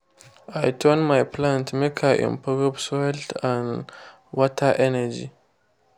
i turn my plants make i improve soild and water energy.